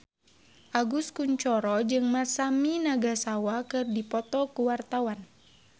Agus Kuncoro jeung Masami Nagasawa keur dipoto ku wartawan